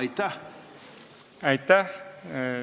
Aitäh!